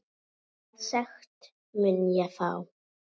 Hvaða sekt mun ég fá?